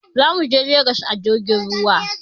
Za muje Legas a jirgin ruwa.